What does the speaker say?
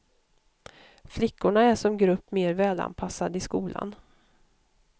Flickorna är som grupp mer välanpassade i skolan.